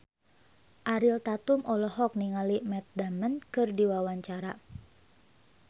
Ariel Tatum olohok ningali Matt Damon keur diwawancara